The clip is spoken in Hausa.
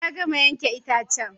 Ya gama yanke itacen